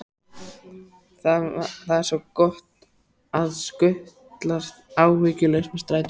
Það er svo gott að skutlast áhyggjulaus með strætó.